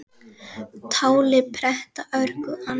Táli pretta örgu ann